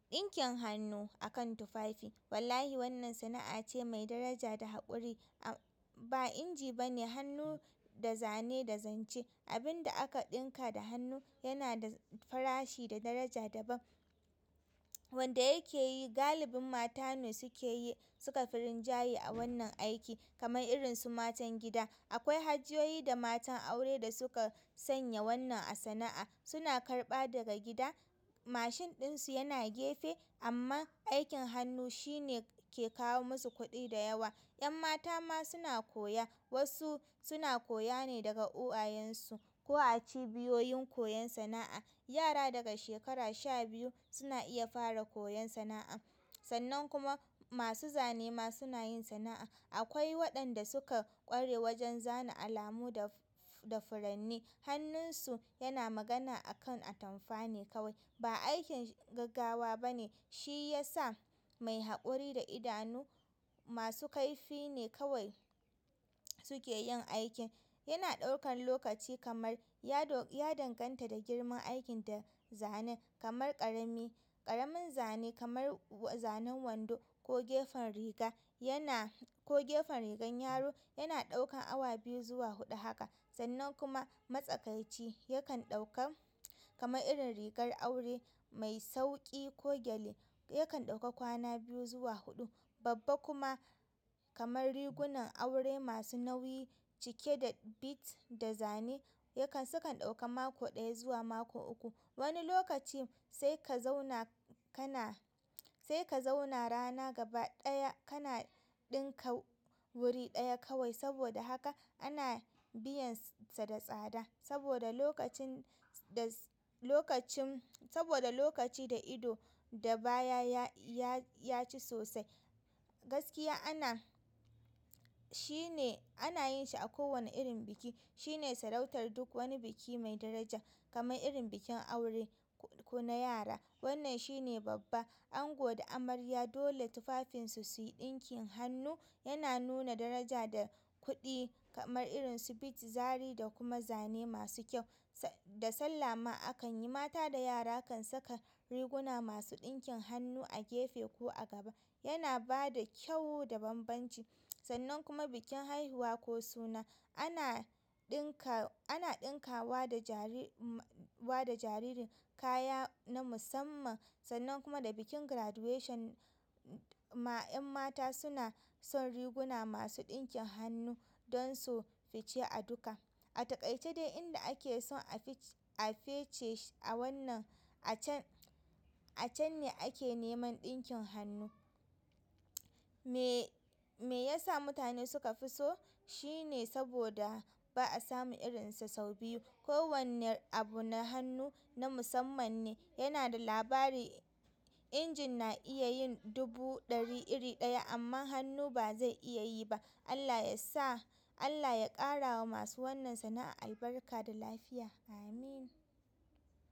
Ɗinkin hannu akan tufafi wallahi wannan sana'a ce mai daraja da haƙuri. A ba inji bane, hannu da zane da zance. Abin da aka ɗinka da hannu yana da farashi da daraja daban. Wanda yake yi galibin mata ne suke yi, sukafi rinjaye a wannan aiki kamar irin su matan gida. Akwai hajiyoyi da matan aure da suka sanya wannan a sana'a. Suna karɓa daga gida, mashin ɗinsu yana gefe amman aikin hannu shine ke kawo musu kuɗi da yawa. 'Yan mata ma suna koya, wasu suna koya ne daga uwayensu ko a cibiyoyin koyon sana'a. Yara daga shekara sha biyu suna iya fara koyon sana'a. Sannan kuma masu zane ma suna yin sana'a. Akwai waɗanda suka ƙware wajen zana alamu da, da furanni. Hannunsu yana magana akan atamfa ne kawai. Ba aikin gaggawa bane, shi ya sa mai haƙuri da idanu masu kaifi ne kawai suke yin aikin. Yana ɗaukan lokaci kamar ya do ya danganta da girman aikin da zanen kamar ƙarami, ƙaramin zane kamar zanen wando ko gefen riga yana ko gefen rigan yaro, yana ɗaukan awa biyu zuwa huɗu haka. Sannan kuma matsakaici yakan ɗauka kamar irin rigar aure mai sauƙi ko gyale yakan ɗauka kwana biyu zuwa huɗu. Babba kuma kamar rigunan aure masu nauyi cike da beads da zane yakan, sukan ɗauka mako ɗaya zuwa mako uku. Wani lokacin sai ka zauna kana, sai ka zauna rana gaba ɗaya kana ɗinka wuri ɗaya kawai saboda haka ana biyan sa da tsada saboda lokacin da, lokacin, saboda lokaci da ido da baya ya, ya, ya ci sosai. Gaskiya ana, shine ana yin shi a kowane irin biki. Shine sarautar duk wani biki mai daraja kamar irin bikin aure ko na yara. Wannan shine babba. Ango da amarya dole tufafinsu suyi ɗinkin hannu. Yana nuna daraja da kuɗi kamar irin su beads, zari da kuma zane masu kyau. Da sallah ma akan yi, mata da yara kan saka riguna masu ɗinkin hannu a gefe ko a gaba. Yana bada kyau da bambanci. Sannan kuma bikin haihuwa ko suna ana ɗinka, ana ɗinkawa da jariri da jariri kaya na musamman sannan kuma da bikin graduation ma 'yan mata suna son riguna masu ɗinkin hannu don su fice a duka. A taƙaice dai inda ake son a fec, a fece a wannan a can, a can ne ake neman ɗinkin hannu. Me yasa mutane suka fi so? Shine saboda ba'a samun irinsu sau biyu. Ko wanne abu na hannu na musamman ne, yana da labari. Injin na iya yin dubu ɗari iri ɗaya amma hannu ba zai iya yi ba. Allah yasa, Allah ya ƙarawa masu wannan sana'a albarka da lafiya. Amin.